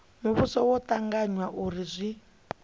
muvhuso zwo tanganywa uri zwi